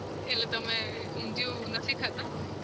એટલે તમે અમ ઊંધિયું નથી ખાતા?